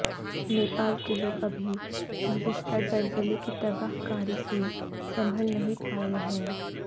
نیپال کے لوگ ابھی گذشتہ زلزلے کی تباہ کاری سے سنبھل نہیں پائے ہیں